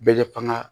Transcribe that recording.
Bɛɛ bɛ fanga